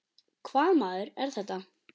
Hvaða maður er þetta?